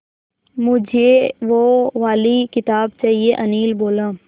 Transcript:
मुझे वो वाली किताब चाहिए अनिल बोला